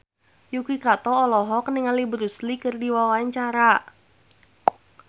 Yuki Kato olohok ningali Bruce Lee keur diwawancara